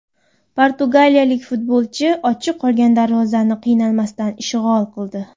Portugaliyalik futbolchi ochiq qolgan darvozani qiynalmasdan ishg‘ol qildi.